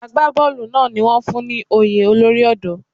Àgbá bọ́ọ̀lù náà ni wón fún ní oyè olórí ọ̀dọ́.